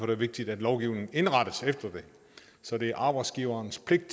det vigtigt at lovgivningen indrettes efter det så det er arbejdsgiverens pligt